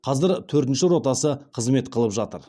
қазір төртінші ротасы қызмет қылып жатыр